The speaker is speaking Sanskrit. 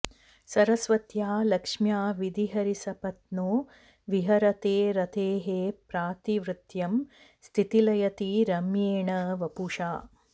सरस्वत्या लक्ष्म्या विधिहरिसपत्नो विहरते रतेः पातिव्रत्यं शिथिलयति रम्येण वपुषा